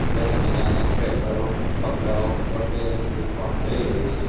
સરસ મજાના સ્વેટરો કપડાઓ વગેરે દેખવા મલી રહ્યુ છે.